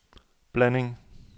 blanding